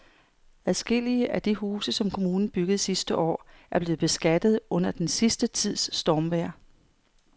Adskillige af de huse, som kommunen byggede sidste år, er blevet beskadiget under den sidste tids stormvejr.